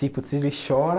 Tipo, se ele chora...